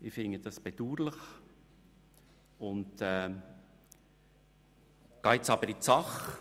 Ich finde dies bedauerlich, komme aber zur Sache.